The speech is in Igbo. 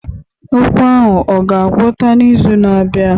Ụkwụ ahụ ọ ga-agwọta n'izu na-abịa?